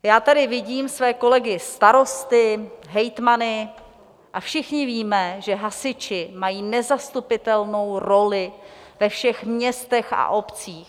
Já tady vidím své kolegy starosty, hejtmany a všichni víme, že hasiči mají nezastupitelnou roli ve všech městech a obcích.